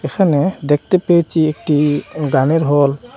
এখানে দেখতে পেয়েচি একটি গানের হল ।